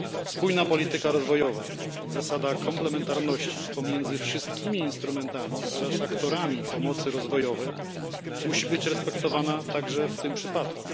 Spójna polityka rozwojowa i zasada komplementarności pomiędzy wszystkimi instrumentami oraz aktorami pomocy rozwojowej musi być respektowana także w tym przypadku.